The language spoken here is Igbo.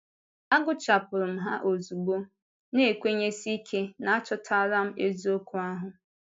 Agụchàpụ̀rù m ha ozugbo, na-ekwènyèsí ike na achọtàlà m eziokwu ahụ.